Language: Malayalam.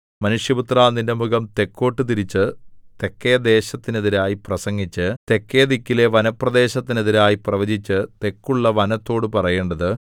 മനുഷ്യപുത്രാ നിന്റെ മുഖം തെക്കോട്ടു തിരിച്ച് തെക്കേദേശത്തിനെതിരായി പ്രസംഗിച്ച് തെക്കേദിക്കിലെ വനപ്രദേശത്തിനെതിരായി പ്രവചിച്ച് തെക്കുള്ള വനത്തോടു പറയേണ്ടത്